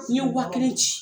n ye wa kelen ci